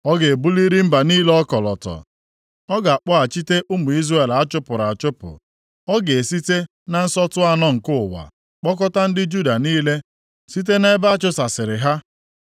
Ọ ga-ebuliri mba niile ọkọlọtọ ọ ga-akpọghachite ụmụ Izrel achụpụrụ achụpụ, ọ ga-esite na nsọtụ anọ nke ụwa kpokọta ndị Juda niile site nʼebe a chụsasịrị ha.